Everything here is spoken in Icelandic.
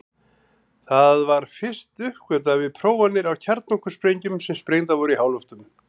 Það var fyrst uppgötvað við prófanir á kjarnorkusprengjum sem sprengdar voru í háloftum.